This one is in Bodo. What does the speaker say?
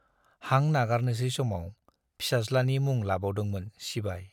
हां नागारनोसै समाव फिसाज्लानि मुं लाबावदोंमोन सिबाइ।